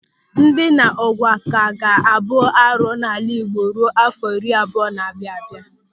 Ndina ụ̀gwa ka ga-abụ arụ n'ala Igbo ruo áfọ̀ iri abụọ na-abịa abịa.